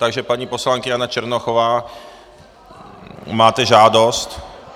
Takže paní poslankyně Jana Černochová, máte žádost.